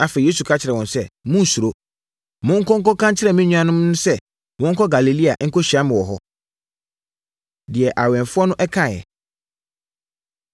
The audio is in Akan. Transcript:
Afei, Yesu ka kyerɛɛ wɔn sɛ, “Monnsuro! Monkɔ nkɔka nkyerɛ me nuanom no sɛ wɔnkɔ Galilea nkɔhyia me wɔ hɔ.” Deɛ Awɛmfoɔ No Kaeɛ